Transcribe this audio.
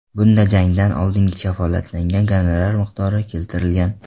Bunda jangdan oldin kafolatlangan gonorar miqdori keltirilgan.